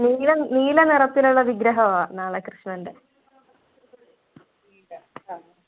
നീല നീല നിറത്തിലുള്ള വിഗ്രഹവാ നാളെ കൃഷ്ണൻ്റെ